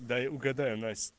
дай угадаю